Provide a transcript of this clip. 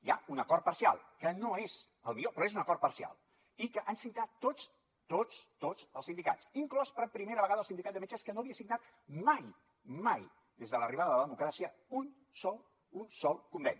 hi ha un acord parcial que no és el millor però és un acord parcial i que han signat tots tots tots els sindicats inclòs per primera vegada el sindicat de metges que no havia signat mai mai des de l’arribada de la democràcia un sol un sol conveni